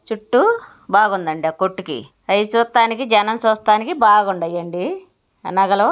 చుట్టూ బాగుందండి ఆ కొట్టుకి. అవి చూత్తానికి జనం చూస్తానికి బాగుండయండి ఆ నగలు.